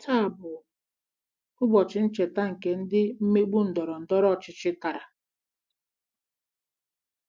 Taa bụ ụbọchị ncheta nke ndị mmegbu ndọrọ ndọrọ ọchịchị tara....